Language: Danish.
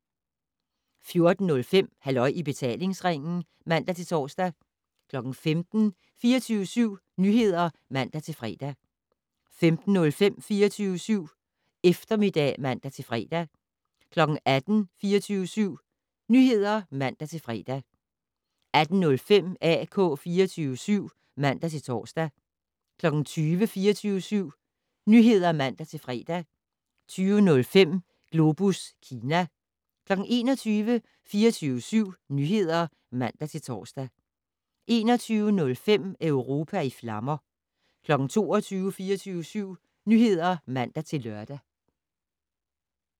14:05: Halløj i betalingsringen (man-tor) 15:00: 24syv Nyheder (man-fre) 15:05: 24syv Eftermiddag (man-fre) 18:00: 24syv Nyheder (man-fre) 18:05: AK 24syv (man-tor) 20:00: 24syv Nyheder (man-fre) 20:05: Globus Kina 21:00: 24syv Nyheder (man-tor) 21:05: Europa i flammer 22:00: 24syv Nyheder (man-lør)